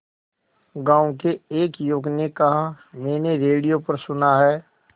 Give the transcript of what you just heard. गांव के एक युवक ने कहा मैंने रेडियो पर सुना है